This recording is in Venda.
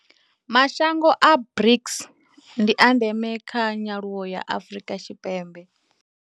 Mashango a BRICS ndi a ndeme kha nyaluwo ya Afrika Tshipembe.